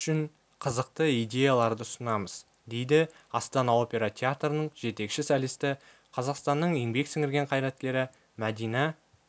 үшін қызықты идеяларды ұсынамыз дейді астана опера театрының жетекші солисті қазақстанның еңбек сіңірген қайраткері мәдина